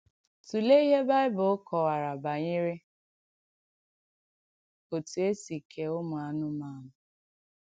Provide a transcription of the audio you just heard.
Tụ̀leè ìhé Bị̀bụ̀l̀ kọ̀wàrà bànyè̀rè òtù è sì kèè ùmù ànùmànù.